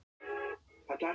Hægt fara sumir en komast þó